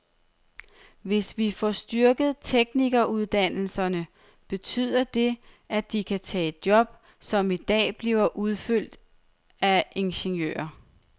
Hvis vi får styrket teknikeruddannelserne, betyder det, at de kan tage job, som i dag bliver udført af ingeniører.